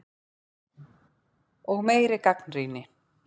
Og meiri gagnrýni.